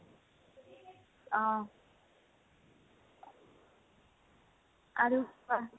অহ, আৰু কোৱা